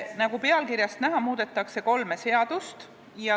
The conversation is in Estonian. Nagu pealkirjast näha, muudetakse kolme seadust.